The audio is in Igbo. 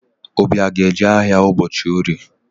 Obi a ga-eje ahịa ụbọchị Orie?